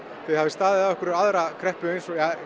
þið hafið staðið af ykkur aðra kreppu